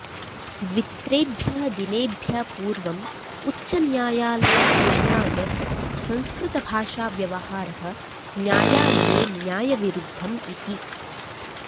द्वित्रेभ्यः दिनेभ्यः पूर्वम् उच्चन्यायालयघोषणा यत् संस्कृतभाषाव्यवहारः न्यायालये न्यायविरुद्धम् इति